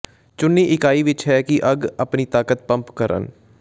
ਚੁਣੀ ਇਕਾਈ ਵਿਚ ਹੈ ਕਿ ਅੱਗ ਆਪਣੀ ਤਾਕਤ ਪੰਪ ਕਰਨ